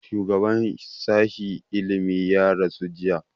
shugaba sashi ilimi ya rasu jiya